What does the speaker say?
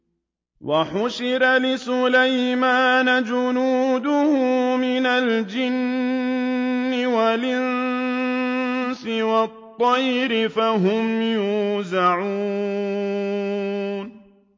وَحُشِرَ لِسُلَيْمَانَ جُنُودُهُ مِنَ الْجِنِّ وَالْإِنسِ وَالطَّيْرِ فَهُمْ يُوزَعُونَ